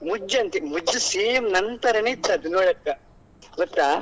ಮುಜ್ಜು ಅಂತೇ ಮುಜ್ಜು same ನನ್ ತರಾನೇ ಇತ್ತು ನೋಡಕ್ಕೆ ಗೊತ್ತಾ.